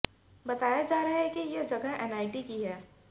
बताया जा रहा है कि यह जगह एनआईटी की है